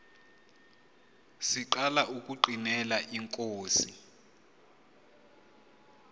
siqala ukungqinela inkosi